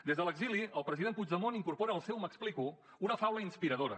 des de l’exili el president puigdemont incorpora al seu m’explico una faula inspiradora